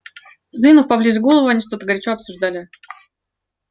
сдвинув поближе головы они что-то горячо обсуждали